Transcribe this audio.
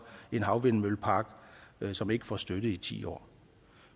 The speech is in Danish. en havvindmøllepark som ikke får støtte i ti år